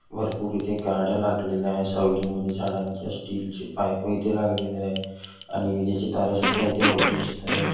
भरपूर इथे गाड्या लाग लागलेल्या आहे.सावलीमध्ये झाडांच्या स्टील चे पाइप इथे लागलेले आहे. आणि विजांचे तारा सुध्दा इथ वरतून दिसत आहे.